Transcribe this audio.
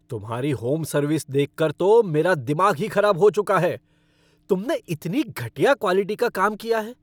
तुम्हारी home service देखकर तो मेरा दिमाग ही खराब हो चुका है, तुमने इतनी घटिया क्वालिटी का काम किया है।